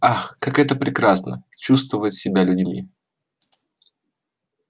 ах как это прекрасно чувствовать себя людьми